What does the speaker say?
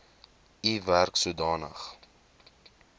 u werk sodanig